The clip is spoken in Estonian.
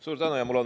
Suur tänu!